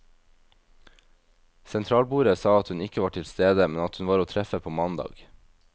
Sentralbordet sa at hun ikke var til stede, men at hun var å treffe på mandag.